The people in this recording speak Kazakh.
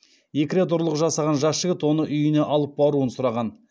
екі рет ұрлық жасаған жас жігіт оны үйіне алып баруын сұраған